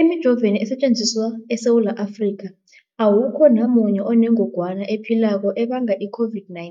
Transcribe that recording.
Emijoveni esetjenziswa eSewula Afrika, awukho namunye onengog wana ephilako ebanga i-COVID-19.